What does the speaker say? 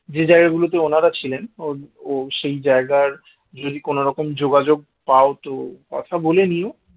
যে জায়গাগুলোতে উনারা ছিলেন সেই জায়গার যদি কোনরকম যোগাযোগ পাও তো কথা বলে নিও